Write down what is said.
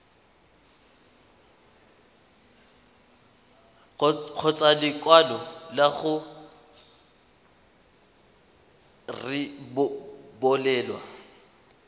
kgotsa lekwalo la go rebolelwa